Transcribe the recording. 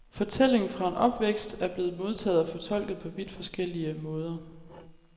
Fortælling fra en opvækst i er blevet modtaget og fortolket på vidt forskellig måder.